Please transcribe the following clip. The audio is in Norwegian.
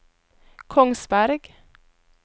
Kongsberg